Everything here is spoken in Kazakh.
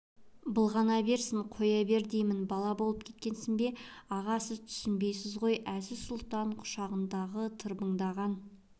былғана берсін қоя бер деймін бала болып кеттің бе аға сіз түсінбейсіз ғой әзиз-сұлтан құшағындағы тырбыңдаған